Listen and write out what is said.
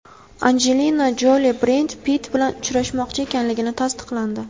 Anjelina Joli Bred Pitt bilan ajrashmoqchi ekanligi tasdiqlandi.